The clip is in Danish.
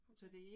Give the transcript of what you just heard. Okay